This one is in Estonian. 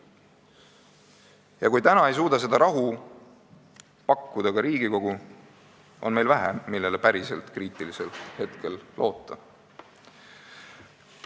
Ja kui täna ei suuda seda rahu pakkuda ka Riigikogu, on meil vähe neid, kellele kriitilisel hetkel päriselt loota.